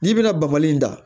N'i bɛna bamali in da